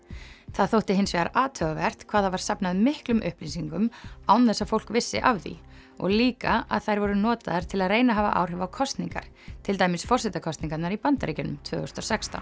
það þótti hins vegar athugavert hvað það var safnað miklum upplýsingum án þess að fólk vissi af því og líka að þær voru notaðar til að reyna að hafa áhrif á kosningar til dæmis forsetakosningarnar í Bandaríkjunum tvö þúsund og sextán